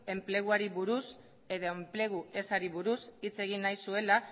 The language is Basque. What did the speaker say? enpleguari buruz edo enplegu ezari buruz hitz egin zuela